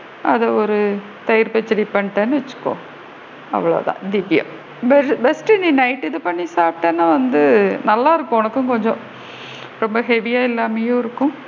அத ஒரு தயிர் பச்சடி பண்ணிட்டேன்னு வச்சுக்கோ அவ்வளோதான் best டு இத night night பண்ணி சாப்பிடீனா வந்து நல்லா இருக்கும் உனக்கும் கொஞ்சம் ரொம்ப heavy யா இல்லாமையும் இருக்கும்.